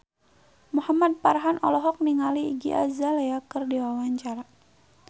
Muhamad Farhan olohok ningali Iggy Azalea keur diwawancara